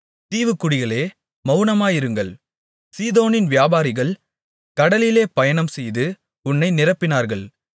தீவுக்குடிகளே மவுனமாயிருங்கள் சீதோனின் வியாபாரிகள் கடலிலே பயணம்செய்து உன்னை நிரப்பினார்கள்